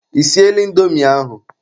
Ị siela indomi ahụ?